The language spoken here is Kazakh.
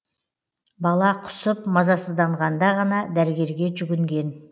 бала құсып мазасызданғанда ғана дәрігерге жүгінген